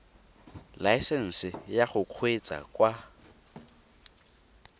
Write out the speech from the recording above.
laesesnse ya go kgweetsa kwa